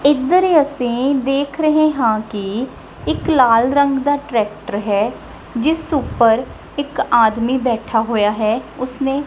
ਏਧਰ ਅਸੀਂ ਦੇਖ ਰਹੇ ਹਾਂ ਕਿ ਇੱਕ ਲਾਲ ਰੰਗ ਦਾ ਟਰੈਕਟਰ ਹੈ ਜਿਸ ਉੱਪਰ ਇੱਕ ਆਦਮੀ ਬੈਠਾ ਹੋਇਆ ਹੈ ਉਸਨੇ--